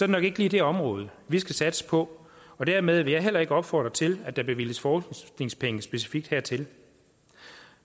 nok ikke lige det område vi skal satse på og dermed vil jeg heller ikke opfordre til at der bevilges forskningspenge specifikt hertil